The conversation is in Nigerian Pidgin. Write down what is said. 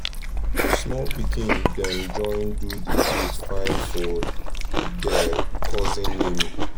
small pikin dem join do the place fine for der cousin naming